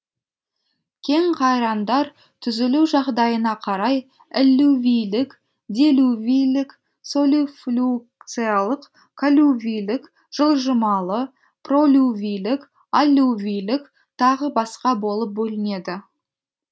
кенқайраңдар түзілу жағдайына қарай эллювийлік делювийлік солифлюкциялық коллювийлік жылжымалы пролювийлік аллювийлік тағы басқа болып бөлінеді